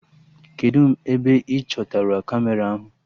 Kedụ ebe ị chọtara Kamera ahụ?